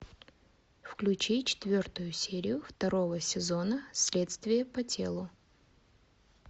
включи четвертую серию второго сезона следствие по телу